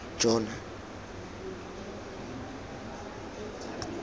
jona